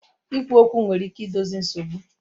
Ikwu okwu nwere ike idozi nsogbu